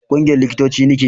ƙungiyar likitoci ni ke